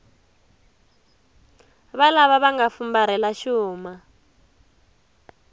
valava va nga fumbarhela xuma